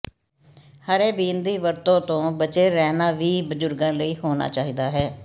ਹਰੇ ਬੀਨ ਦੀ ਵਰਤੋ ਤੋਂ ਬਚੇ ਰਹਿਣਾ ਵੀ ਬਜ਼ੁਰਗਾਂ ਲਈ ਹੋਣਾ ਚਾਹੀਦਾ ਹੈ